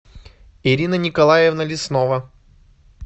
ирина николаевна леснова